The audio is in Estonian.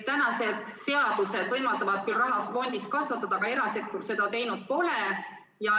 Meie seadused võimaldavad küll raha fondis kasvatada, aga erasektor seda teinud pole.